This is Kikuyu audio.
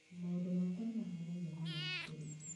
"Maũndũ makwa nĩ mahanaine na ma cukuru ingĩ